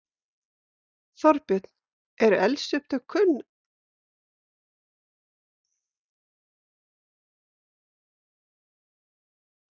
Þorbjörn: Eru eldsupptök kunn að svo. núna?